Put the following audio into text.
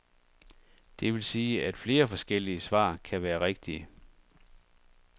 Det vil sige, at flere forskellige svar kan være rigtige.